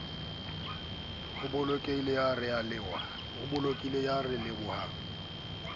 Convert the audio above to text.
e bolokehileng ya ralewa le